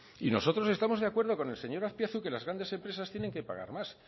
y nosotros estamos de acuerdo con el señor azpiazu que las grandes empresas tienen que pagar más